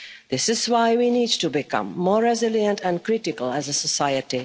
too easily. This is why we need to become more resilient and critical